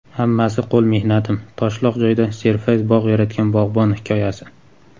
"Hammasi – qo‘l mehnatim" — toshloq joyda serfayz bog‘ yaratgan bog‘bon hikoyasi.